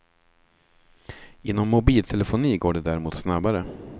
Inom mobiltelefoni går det däremot snabbare.